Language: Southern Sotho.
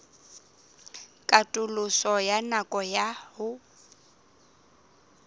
katoloso ya nako ya ho